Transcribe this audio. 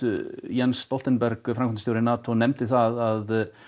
Jens Stoltenberg framkvæmdastjóri NATO nefndi það að